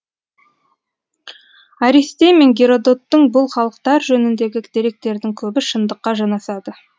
аристей мен геродоттың бұл халықтар жөніндегі деректердің көбі шындыққа жанасады